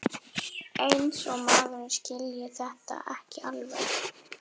Eins og maður skilji þetta ekki alveg!